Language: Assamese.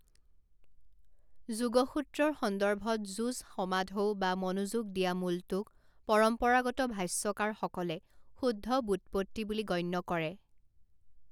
যোগসূত্ৰৰ সন্দৰ্ভত যুজ সমাধৌ বা মনোযোগ দিয়া মূলটোক পৰম্পৰাগত ভাষ্যকাৰসকলে শুদ্ধ ব্যুৎপত্তি বুলি গণ্য কৰে।